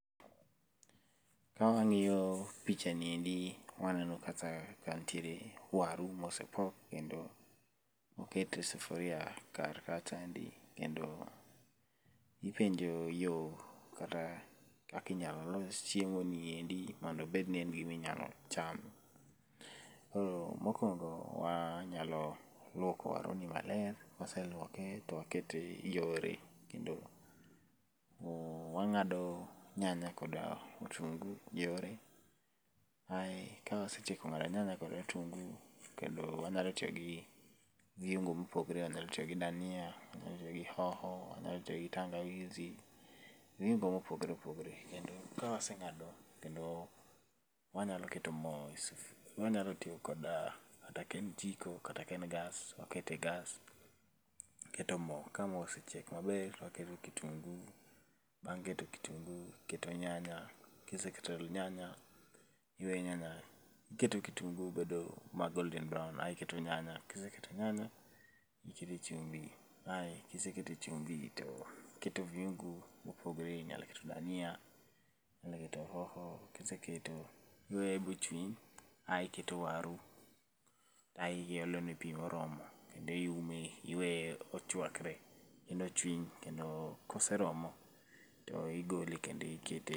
Ka wang'iyo pichani endi gi, waneno kata ka nitiere waru mosepok, kendo okete e sufuria kar kacha endi kendo ipenjo yo kata kaka inya los chiemoni endi mondo obed ni en gima inyalo cham. Koro mokwongo wanyalo lwoko waruni maler, kwaseluoke, to wakete yore kendo wang'ado nyanya kod otungu yore, ae kawasetieko ng'ado nyanya kod otungu, kendo wanyalo tiyo gi viungo mopogore . Anyalo tiyo gi dania, anyalo tiyo gi hoho, anyalo tiyo gi tangawizi. Viungo mopogore opogore. Kendo kawaseng'ado wanyalo keto mo wanyalo tiyo kod kata ka en jiko, kata ka en gas, wakete e gas, waketo mo, ka mo osechiek maber, waketo kitunguu, bang' keto kitunguu, iketo nyanya. Kiseketo nyanya, iwe nyanya, iketo kitunguu bedo ma golden brown ae iketo nyanya, kiseketo nyanya, ikete chumbi ae, kiseketo chumbi to iketo viungo mopogore. Inyalo keto dania, inyalo keto hoho. Kiseketo, iweye bochwiny ae iketo waru ae iolone pi moromo, kendo iume kendo iweye ochwakre ,kendo ochwiny, kendo koseromo, to igole kendo ikete.